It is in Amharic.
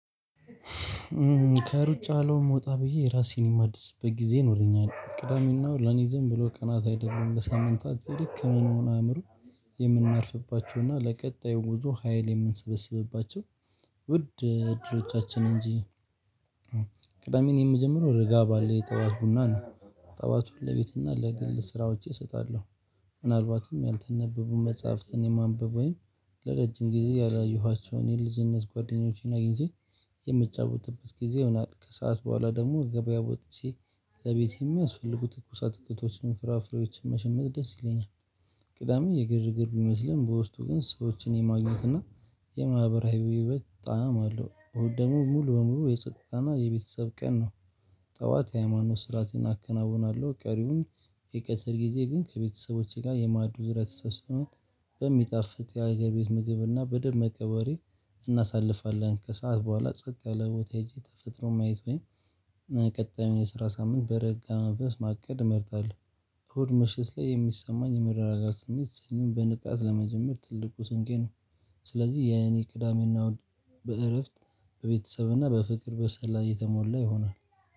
ከሩጫ አለም ወጣ ብዬ ራሴን የማድስበት ጊዜ ይኖረኛል ቅዳሜናእሁድ ለኔ ዝም ብሎ ቀናት አይደለም ለሳምንታት ይልቅ ከምንሆን አእምሮ የምናርፍባቸው እና ለቀጣዩ ጉዞ ሀይል የምንሰበስብባቸው ውድ እድሎቻችን እንጂ። ቅዳሜን የምጀምረው ረጋ ባለ የጠዋት ቡና ነው ጠዋት ሁሌ ለቤትና ለግል ሥራዎቼ እሰጣለሁ። ምናልባትም ያለተነበቡን መጽሐፍትን የማንበብ ወይም ለረጅም ጊዜ ያላየኋቸውን የልጅነት ጓደኞቼን አግኝቼ የምጫወትበት ጊዜ ይሆናል። ከሰአት በኋላ ደግሞ ገበያ ወጥቼ ለቤት የሚያስፈልጉ ትኩስ አትክልቶችን ፍራፍሬዎችን መሸመት ደስ ይለኛል። ቅዳሜ የግርግር ቢመስልም በውስጡ ግን ሰዎችን የማግኘት እና የማህበራዊ ህየህይወት ጣዕም አለው። እሁድ ደግሞ ሙሉ በሙሉ የጸጥታ እና የቤተሰብ ቀን ነው። ጠዋት የሃይማኖት ሥራዓትን አከናውናለሁ ቀሪውን የቀትር ጊዜ ግን ከቤተሰቦቼ ጋር የማዕዱ ዙሪያ ተሰብስበን በሚጣፍጥ የሀገር ቤት ምግብና በደንብ በደመቀ ወሬ እናሳልፋለን። ከሰአት በኋላ ጸጥ ያለ ቦታ ሄጄ ተፈጥሮ ማየት ወይም ቀጣዩን የስራ ሳምንት በረጋ መንፈስ ማቀድ እመርጣለሁ። እሁድ ምሽት ላይ የሚሰማኝ የመረጋጋት ስሜት ሰኞን በንቃት ለመጀመር ትልቁ ስንቄ ነው። ስለዚህ የኔ ቅዳሜና እሁድ በእረፍት በቤተሰብና በፍቅር በሠላም የተሞላ ይሆናል።